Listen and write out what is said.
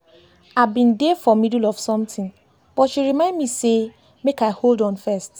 I have been there for middle of something but she remind me sey make I hold on first